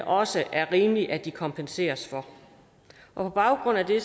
også er rimeligt at de kompenseres for på baggrund af det